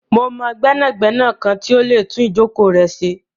Mo mọ gbẹnagbẹna kan ti o lè tún ijọ̀kọ̀ rẹ ṣé.